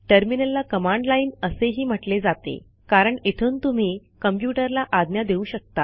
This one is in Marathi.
टर्मिनलला कमांड लाईन असेही म्हटले जाते कारण इथून तुम्ही कॉम्प्युटरला आज्ञा देऊ शकता